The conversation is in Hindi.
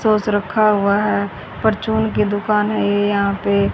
सॉस रखा हुआ है परचून की दुकान है ये यहां पे--